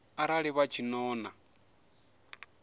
arali vha tshi ṱo ḓa